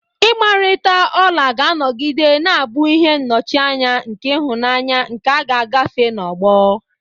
Igbarita ola ga-anọgide na-abụ ihe nnọchianya nke ịhụnanya nke a ga-agafe n'ọgbọ..